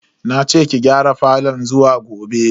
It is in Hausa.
Nace ki gyara falon zuwa gobe.